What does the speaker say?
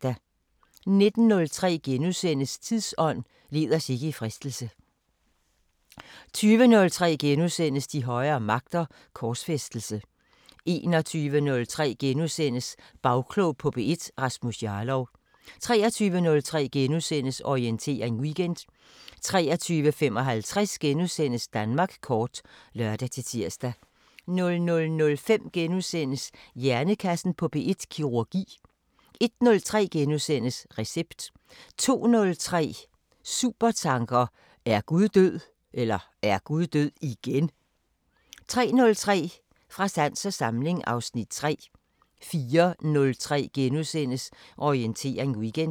19:03: Tidsånd: Led os ikke i fristelse * 20:03: De højere magter: Korsfæstelse * 21:03: Bagklog på P1: Rasmus Jarlov * 23:03: Orientering Weekend * 23:55: Danmark kort *(lør-tir) 00:05: Hjernekassen på P1: Kirurgi * 01:03: Recept * 02:03: Supertanker: Er Gud død (igen)? 03:03: Fra sans og samling (Afs. 3) 04:03: Orientering Weekend *